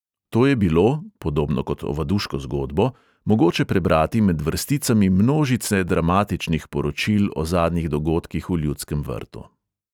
To je bilo – podobno kot ovaduško zgodbo – mogoče prebrati med vrsticami množice dramatičnih poročil o zadnjih dogodkih v ljudskem vrtu.